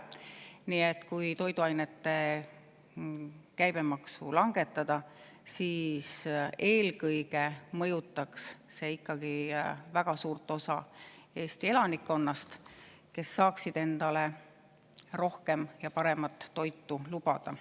Nii et kui toiduainete käibemaksu langetada, siis eelkõige mõjutaks see ikkagi väga suurt osa Eesti elanikkonnast, kes saaksid endale rohkem ja paremat toitu lubada.